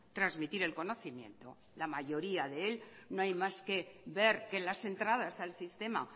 trasmitir el conocimiento en la mayoría de él no hay más que ver que las entradas al sistema